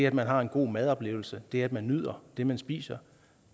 at man har en god madoplevelse det at man nyder det man spiser